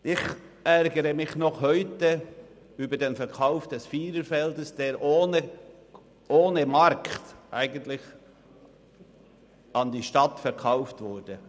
Ich ärgere mich noch heute über den Verkauf des Viererfelds, der ohne Markt an die Stadt verkauft wurde.